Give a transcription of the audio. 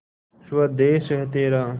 स्वदेस है तेरा